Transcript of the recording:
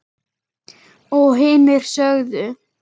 Og hinir sögðu: